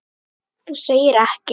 Þú segir ekki?